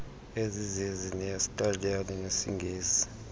ezizezi eyesitaliyane nyesingesi